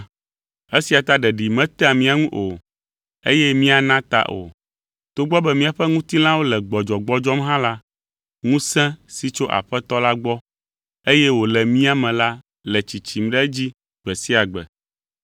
Esia ta ɖeɖi metea mía ŋu o, eye míana ta o. Togbɔ be míaƒe ŋutilãwo le gbɔdzɔgbɔdzɔm hã la, ŋusẽ si tso Aƒetɔ la gbɔ, eye wòle mía me la le tsitsim ɖe edzi gbe sia gbe.